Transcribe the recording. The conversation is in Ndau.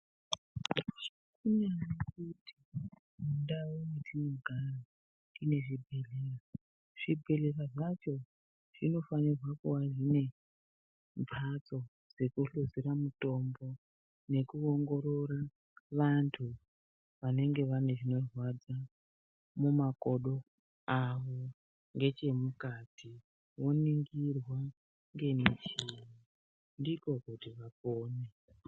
Mundau dzatinogara tine zvibhedhlera, zvibhedhlera zvacho zvinofanirwa kuva zvine mbatso dzekuhluzira mutombo nekuongorora vantu vanenge vane zvinorwadza mumakodo avo ngechemukati voningirwa ngemichini ndiko kuti vapone.